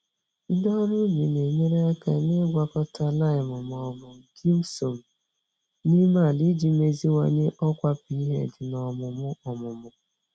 Ndị ọrụ ubi na-enyere aka n'ịgwakọta lime ma ọ bụ gypsum n'ime ala iji meziwanye ọkwa pH na ọmụmụ ọmụmụ.